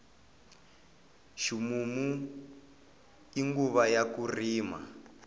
ximumu i nguva ya ku rima